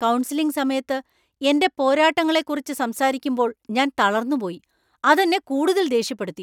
Counselling സമയത്ത് എന്‍റെ പോരാട്ടങ്ങളെക്കുറിച്ച് സംസാരിക്കുമ്പോൾ ഞാൻ തളർന്നുപോയി. അതെന്നെ കൂടുതൽ ദേഷ്യപ്പെടുത്തി.